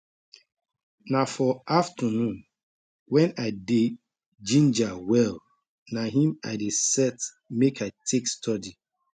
na for afternon when i dey ginger well na him i dey set make i take study